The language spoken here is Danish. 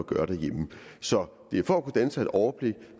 gøre derhjemme så det er for at kunne danne sig et overblik